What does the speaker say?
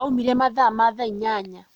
Aumire mathaa ma thaa inyanya